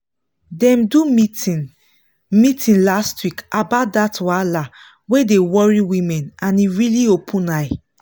dem do meeting meeting last week about that wahala wey dey worry women and e really open eye.